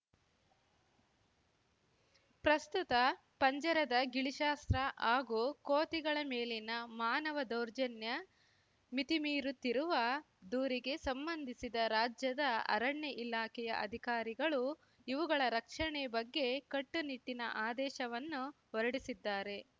ಪ್ರಸ್ತುತ ಪಂಜರದ ಗಿಳಿಶಾಸ್ತ್ರ ಹಾಗೂ ಕೋತಿಗಳ ಮೇಲಿನ ಮಾನವ ದೌರ್ಜನ್ಯ ಮಿತಿಮೀರುತ್ತಿರುವ ದೂರಿಗೆ ಸಂಬಂಧಿಸಿದ ರಾಜ್ಯದ ಅರಣ್ಯ ಇಲಾಖೆಯ ಅಧಿಕಾರಿಗಳು ಇವುಗಳ ರಕ್ಷಣೆ ಬಗ್ಗೆ ಕಟ್ಟುನಿಟ್ಟಿನ ಆದೇಶವನ್ನು ಹೊರಡಿಸಿದ್ದಾರೆ